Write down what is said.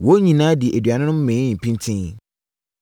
Wɔn nyinaa dii aduane no mee pintinn.